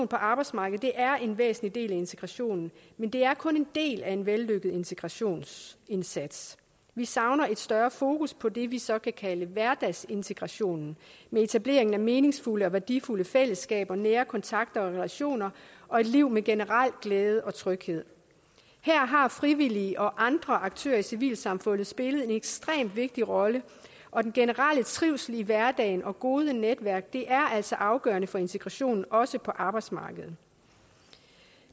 på arbejdsmarkedet er en væsentlig del af integrationen men det er kun en del af en vellykket integrationsindsats vi savner et større fokus på det vi så kan kalde hverdagsintegrationen med etablering af meningsfulde og værdifulde fællesskaber nære kontakter og relationer og et liv med generel glæde og tryghed her har frivillige og andre aktører i civilsamfundet spillet en ekstremt vigtig rolle og den generelle trivsel i hverdagen og gode netværk er altså afgørende for integrationen også på arbejdsmarkedet